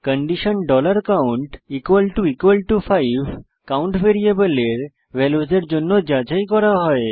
condition count 5 count ভ্যারিয়েবলের ভ্যালুসের জন্য যাচাই করা হয়